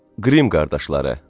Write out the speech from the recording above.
Qrim qardaşları.